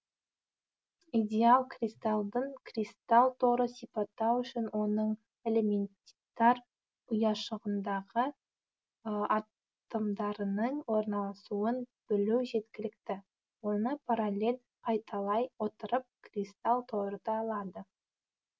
идеал кристалдың кристалл торы сипаттау үшін оның элементар ұяшығындағы атомдарының орналасуын білу жеткілікті оны параллель қайталай отырып кристалл торыды алады